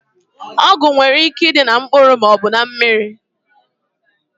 Ọgwụ nwere ike ịdị na mkpụrụ maọbụ na mmiri